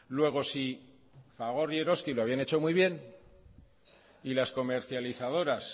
luego si fagor y eroski lo habían hecho muy bien y las comercializadoras